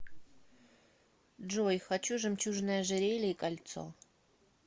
джой хочу жемчужное ожерелье и кольцо